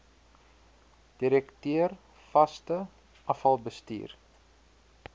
direkteur vaste afvalbestuur